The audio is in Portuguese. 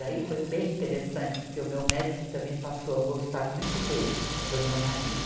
Daí foi bem interessante, porque o meu médico também passou a gostar muito dele, do meu marido.